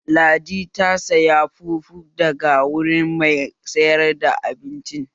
Ladi ta saya fufu daga wuri mai sayar da abinci